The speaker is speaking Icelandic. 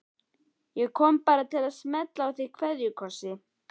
Ég kom bara til að smella á þig kveðjukossi.